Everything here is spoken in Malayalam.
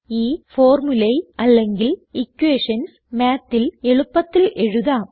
ഈ ഫോർമുളെ അല്ലെങ്കിൽ ഇക്വേഷൻസ് Mathൽ എളുപ്പത്തിൽ എഴുതാം